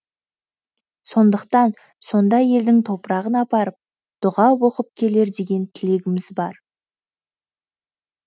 сондықтан сонда елдің топырағын апарып дұға оқып келер деген тілегіміз бар